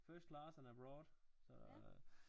First class and abroad så